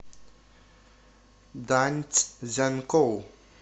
даньцзянкоу